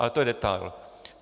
Ale to je detail.